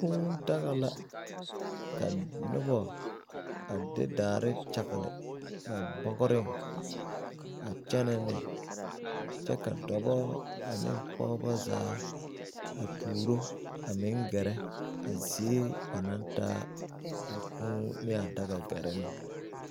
Kūū daga la ka nobɔ a de daare kyagle ba bɔgreŋ a kyɛnɛ ne kyɛ ka dɔbɔ ane pɔɔbɔ zaa a tuuro a meŋ gɛrɛ zie ba naŋ taa a kūū ne a daga gɛrɛ ne.